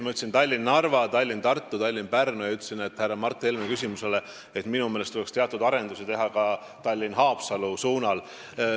Ma ütlesin Tallinna–Narva, Tallinna–Tartu, Tallinna–Pärnu ja ütlesin härra Mart Helme küsimusele vastates, et minu meelest tuleks teatud arendusi teha ka Tallinna–Haapsalu suunal.